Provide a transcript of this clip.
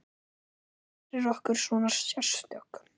Hvað gerir okkur svona sérstök?